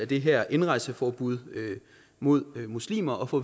det her indrejseforbud mod muslimer at få